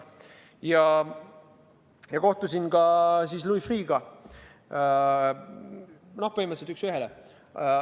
Ja ma kohtusin ka Louis Freeh'ga, põhimõtteliselt üks ühele.